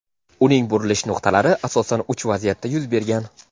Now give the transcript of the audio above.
Uning burilish nuqtalari asosan uch vaziyatda yuz bergan:.